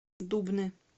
дубны